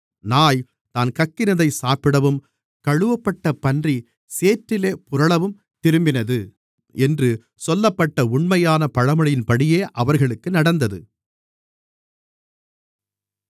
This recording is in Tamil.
நாய் தான் கக்கினதை சாப்பிடவும் கழுவப்பட்ட பன்றி சேற்றிலே புரளவும் திரும்பினது என்று சொல்லப்பட்ட உண்மையான பழமொழியின்படியே அவர்களுக்கு நடந்தது